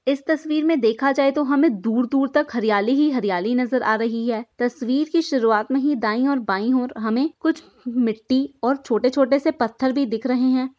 इस तस्वीर मे देखा जाए तो हमे दूर दूर तक हरियाली ही हरियाली नजर आ रही है तस्वीर की शुरुआत मे ही दाई ओर बाई ओर हमें कुछ मिट्टी और छोटे छोटे से पत्थर भी दिख रहे हैं।